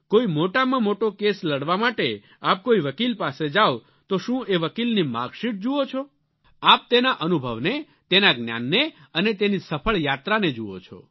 કોઈ મોટામાં મોટો કેસ લડવા માટે આપ કોઈ વકિલ પાસે જાઓ તો શું એ વકિલની માર્કશીટ જુઓ છો આપ તેના અનુભવને તેના જ્ઞાનને અને તેની સફળ યાત્રાને જુઓ છો